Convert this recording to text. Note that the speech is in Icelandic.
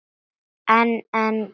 En en.